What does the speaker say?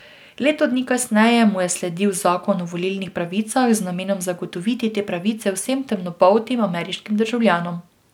Leto dni kasneje mu je sledil zakon o volilnih pravicah z namenom zagotoviti te pravice vsem temnopoltim ameriškim državljanom.